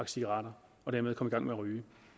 cigaretter og dermed komme i gang med ryge